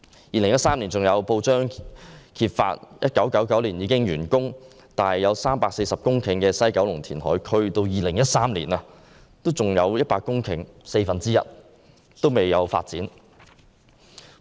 2013年有報章揭發 ，1999 年已完工、佔地340公頃的西九龍填海區，在2013年仍有四分之一的土地未經發展。